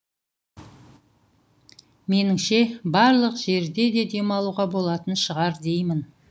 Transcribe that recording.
меніңше барлық жерде де демалуға болатын шығар деймін